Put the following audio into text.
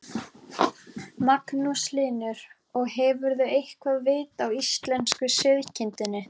Magnús Hlynur: Og hefurðu eitthvað vit á íslensku sauðkindinni?